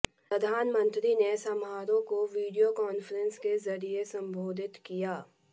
प्रधानमंत्री ने समारोह को वीडियो कांफ्रेंस के जरिए संबोधित किया